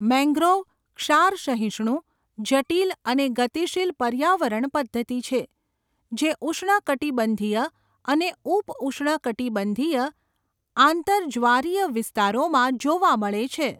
Mangrove ક્ષાર સહિષ્ણુ, જટિલ અને ગતિશીલ પર્યાવરણ પદ્ધતિ છે, જે ઉષ્ણકટિબંધીય અને ઉપ ઉષ્ણકટિબંધીય આંતરજ્વારીય વિસ્તારોમાં જોવા મળે છે.